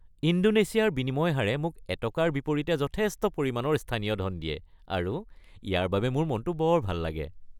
ইণ্ডোনেছিয়াৰ বিনিময় হাৰে মোক এটকাৰ বিপৰীতে যথেষ্ট পৰিমাণৰ স্থানীয় ধন দিয়ে আৰু ইয়াৰ বাবে মোৰ মনটো বৰ ভাল লাগে।